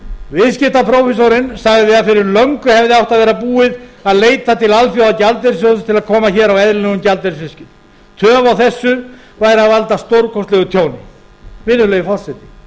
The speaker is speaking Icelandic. aftur viðskiptaprófessorinn sagði að fyrir löngu hefði átt að vera búið að leita til alþjóðagjaldeyrissjóðsins til að koma á eðlilegum gjaldeyrisviðskiptum töf á þessu væri að valda stórkostlegu tjóni virðulegi forseti